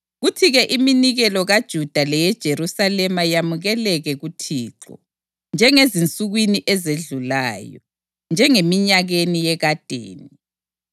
kuthi-ke iminikelo kaJuda leyeJerusalema yamukeleke kuThixo, njengezinsukwini ezedlulayo, njengeminyakeni yekadeni.